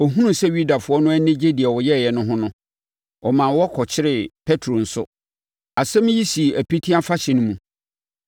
Ɔhunuu sɛ Yudafoɔ no ani gye deɛ ɔyɛeɛ no ho no, ɔmaa wɔkɔkyeree Petro nso. Asɛm yi sii Apiti Afahyɛ no mu.